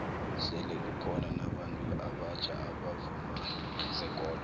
sele kukhono nabantu abatjha abavuma zekolo